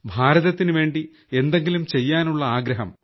ഭാരതത്തിനുവേണ്ടി എന്തെങ്കിലും ചെയ്യാനുള്ള ആഗ്രഹം